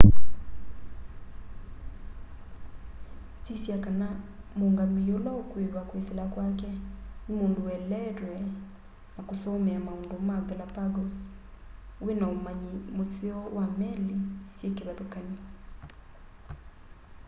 sisya kana muungamii ula ukuiva kwisila kwake ni mundu ueleetwe na kusomea maundu ma galapagos wina umanyi museo wa meli syi kivathukany'o